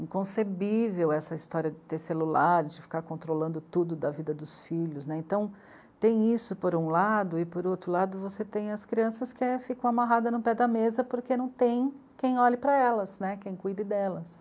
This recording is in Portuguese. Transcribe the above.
inconcebível essa história de ter celular, de ficar controlando tudo da vida dos filhos, né, então tem isso por um lado e por outro lado você tem as crianças que ficam amarradas no pé da mesa porque não tem quem olhe para elas, né, quem cuide delas.